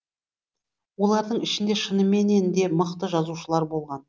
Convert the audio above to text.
олардың ішінде шыныменен де мықты жазушылар болған